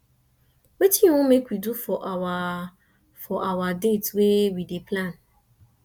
wetin you wan make we do for our for our date wey we dey plan